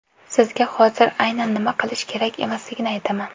Sizga hozir aynan nima qilish kerak emasligini aytaman.